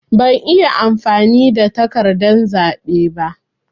Ban iya amfani da takardan zaɓe ba.